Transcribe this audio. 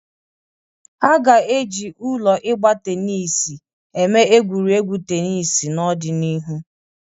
A ga-eji ụlọ ịgba tenis eme egwuregwu tenis n'ọdịnihu.